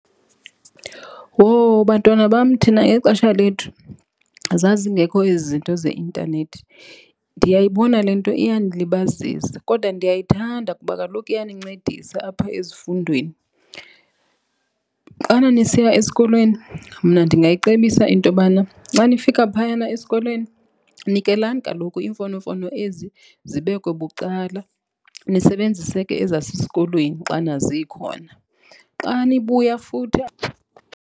Wowu, bantwana bam thina ngexesha lethu zazingekho ezi zinto zeintanethi. Ndiyayibona le nto iyanilibazisa kodwa ndiyayithanda kuba kaloku iyanincedisa apho ezifundweni. Xana nisiya esikolweni, mna ndingayicebisa intobana xa nifika phayana esikolweni nikelani kaloku iimfonomfono ezi zibekwe bucala nisebenzise ke ezasesikolweni xana zikhona. Xa nibuya futhi.